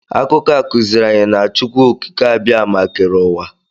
Akụkọ a kụziiri anyị na Chukwuokikeabiama kere ụwa.